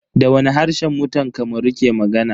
Da wani harshe mutan Kamaru ke magana?